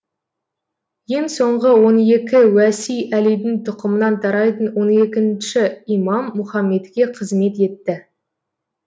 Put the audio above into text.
ең соңғы он екі уәси әлидің тұқымынан тарайтын он екінші имам мұхаммедке қызмет етті